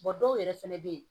dɔw yɛrɛ fɛnɛ bɛ ye